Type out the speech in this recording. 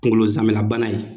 Kunkolo zamɛnabana in